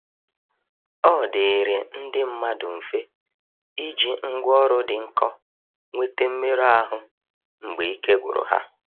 ọdịịrị ndi mmadụ mfe iji ngwa ọrụ dị nkọ nwete mmerụ ahụ mgbe ike gwụrụ ha.